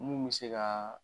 Mun mi se ka